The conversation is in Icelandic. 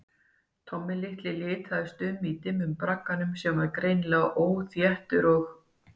Tommi litaðist um í dimmum bragganum, hann var greinilega óþéttur og